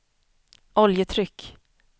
oljetryck